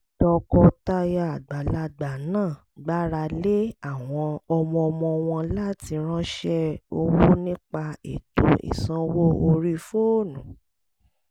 tọkọtaya àgbàlagbà náà gbára lé àwọn ọmọ-ọmọ wọn láti ránṣẹ́ owó nípa ètò ìsanwó orí fóònù